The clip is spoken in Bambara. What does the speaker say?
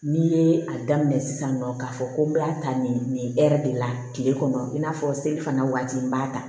N'i ye a daminɛ sisan nɔ k'a fɔ ko n bɛ taa nin de la tile kɔnɔ i n'a fɔ seli fana waati n b'a ta